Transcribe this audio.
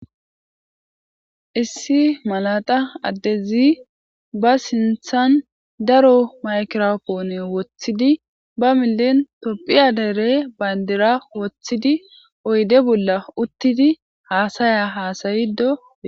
issi malata addezi ba sinthan daro maykropoone woththidi ba milen topphiya dere bayndira woththidi oyde bolla uttidi haasaya haasayido e